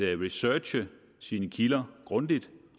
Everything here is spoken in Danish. researche sine kilder grundigt